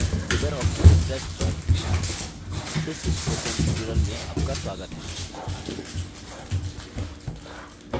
Libre office impress पर इस spoken tutorial में आपका स्वागत है